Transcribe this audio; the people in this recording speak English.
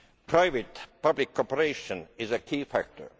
Private public cooperation is a key factor.